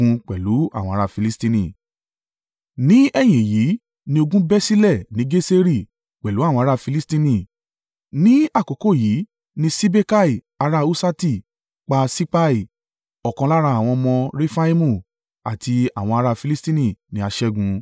Ní ẹ̀yìn èyí ni ogun bẹ́ sílẹ̀ ní Geseri pẹ̀lú àwọn ará Filistini, ní àkókò yìí ni Sibekai ará Huṣati pa Sipai, ọ̀kan lára àwọn ọmọ Refaimu, àti àwọn ará Filistini ni a ṣẹ́gun.